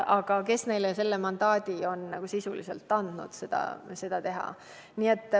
Aga kes neile selle mandaadi on andnud?